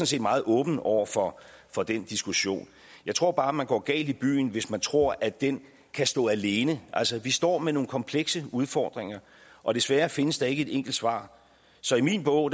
set meget åben over for for den diskussion jeg tror bare man går galt i byen hvis man tror at det kan stå alene altså vi står med nogle komplekse udfordringer og desværre findes der ikke et enkelt svar så i min bog